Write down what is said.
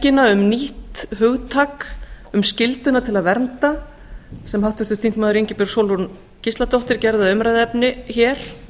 mannhelgina um nýtt hugtak um skylduna til að vernda sem háttvirtur þingmaður ingibjörg sólrún gísladóttir gerði að umræðuefni hér